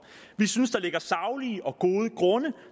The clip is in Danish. vi synes der ligger saglige og gode grunde